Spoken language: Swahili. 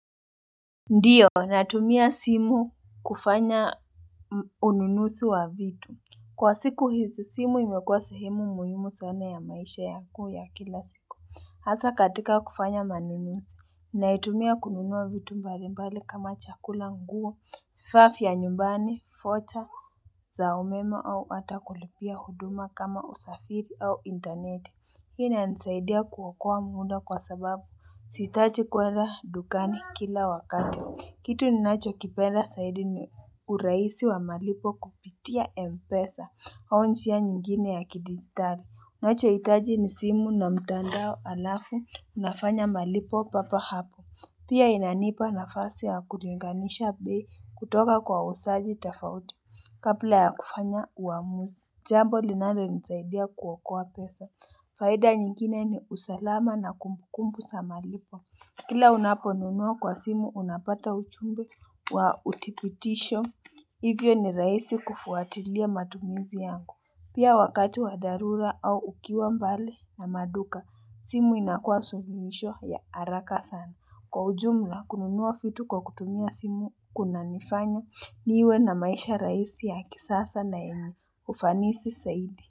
Ndiyo natumia simu kufanya ununuzi wa vitu Kwa siku hizi simu imekuwa sehemu muhimu sana ya maisha yangu ya kila siku Hasa katika kufanya manunuzi Naitumia kununua vitu mbalimbali kama chakula nguo, vifaa ya nyumbani, fota, za umeme au ata kulipia huduma kama usafiri au intaneti Hii inanisaidia kuokoa muda kwa sababu sihitaji kuenda dukani kila wakati. Kitu ninachokipenda saidi ni urahisi wa malipo kupitia Mpesa. Au njia nyingine ya kidigitali. Unachohitaji ni simu na mtandao alafu nafanya malipo papo hapo. Pia inanipa nafasi ya kulinganisha bei kutoka kwa wauzaji tofauti. Kabla ya kufanya uamuzi. Jambo linalonisaidia kuokoa pesa. Faida nyingine ni usalama na kumbukumbu za malipo. Kila unaponunua kwa simu unapata ujumbe wa uthibitisho. Hivyo ni rahisi kufuatilia matumizi yangu. Pia wakati wa dharura au ukiwa mbali na maduka, simu inakuwa suluhisho ya haraka sana. Kwa ujumla kununua vitu kwa kutumia simu kunanifanya niwe na maisha rahisi ya kisasa na yenye ufanisi zaidi.